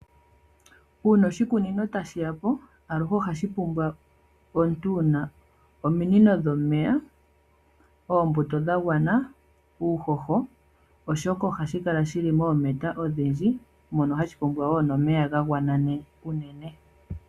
Uuna oshikunino ta shiya po aluhe oha shi pumbwa omuntu wu na ominino dhomeya, oombuto dha gwana nuuhoho oshoka ohashi kala shili moometa odhindji mono hashi pumbwa wo omeya ga gwana unene.